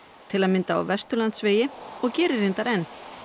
til að mynda á Vesturlandsvegi og gerir reyndar enn